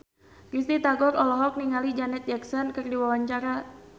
Risty Tagor olohok ningali Janet Jackson keur diwawancara